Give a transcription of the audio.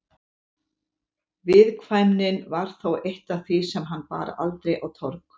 Viðkvæmnin var þó eitt af því sem hann bar aldrei á torg.